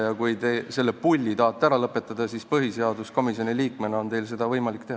Ja kui te selle "pulli" tahate ära lõpetada, siis põhiseaduskomisjoni liikmena on teil seda võimalik teha.